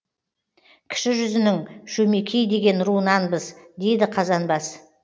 кіші жүзінің шөмекей деген руынанбыз дейді қазанбас